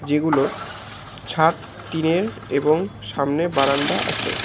যেগুলো ছাদ টিনের এবং সামনে বারান্দা আছে।